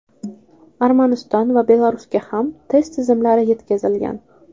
Armaniston va Belarusga ham test tizimlar yetkazilgan.